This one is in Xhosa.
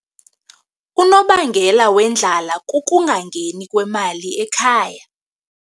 Unobangela wendlala kukungangeni kwemali ekhaya.